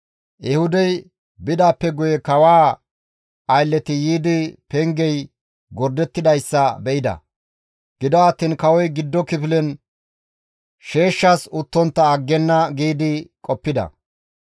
Ehuudey bidaappe guye kawaa aylleti yiidi pengey gordettidayssa be7ida; gido attiin kawoy giddo kifilen sheeshshas uttontta aggenna giidi qoppida.